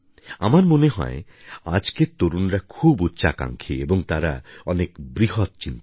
আমার মনে হয় আজকের তরুণরা খুব উচ্চাকাঙ্ক্ষী এবং তারা অনেক বৃহৎ চিন্তা করে